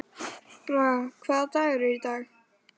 Braga, hvaða dagur er í dag?